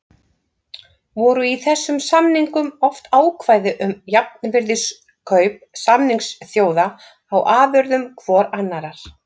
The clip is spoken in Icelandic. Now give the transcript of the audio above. Voru í þessum samningum oft ákvæði um jafnvirðiskaup samningsþjóða á afurðum hvorrar annarrar.